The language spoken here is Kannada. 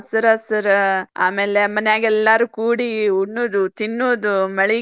ಹಾ ಹಸರ್ ಹಸರ್ ಆಮೇಲ್ ಮನ್ಯಾಗೆಲ್ಲರು ಕೂಡಿ ಉಣ್ಣುಡು ತಿನ್ನುದು ಮಳಿಗ್ ,